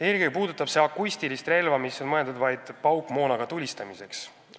Eelkõige puudutab see temaatika akustilist relva, mis on mõeldud vaid paukmoonaga tulistamiseks.